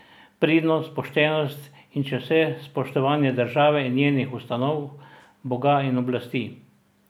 Pridnost, poštenost in čez vse spoštovanje države in njenih ustanov, boga in oblasti!